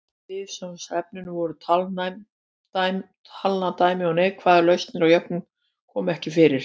Viðfangsefnin voru talnadæmi og neikvæðar lausnir á jöfnum komu ekki fyrir.